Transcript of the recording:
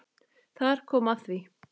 Þar kom að því!